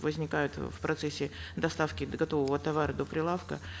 возникают э в процессе доставки готового товара до прилавка